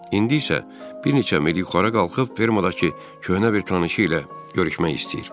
İndi isə bir neçə mil yuxarı qalxıb fermadakı köhnə bir tanışı ilə görüşmək istəyir.